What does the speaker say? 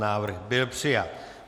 Návrh byl přijat.